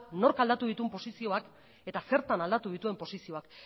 nork aldatu dituen posizioak eta zertan aldatu dituen posizioak